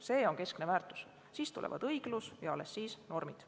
See on keskne väärtus, siis tuleb õiglus ja alles seejärel tulevad normid.